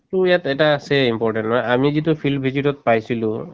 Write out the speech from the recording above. ইয়াত এটা আছে আমি যিটো field visit তত পাইছিলো